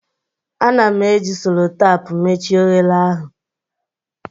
Ana m eji solotapu mechie oghere ahụ